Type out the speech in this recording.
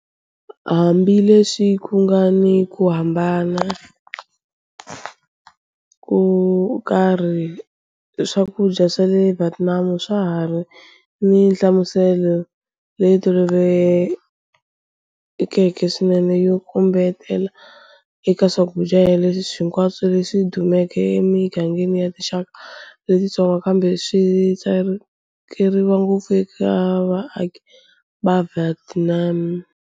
Hambileswi ku nga ni ku hambana ko karhi, swakudya swa le Vietnam swa ha ri ni nhlamuselo leyi tolovelekeke swinene yo kombetela eka swakudya hinkwaswo leswi dumeke emigangeni ya tinxaka letitsongo kambe swi tsakeriwa ngopfu eka vaaki va le Vietnam.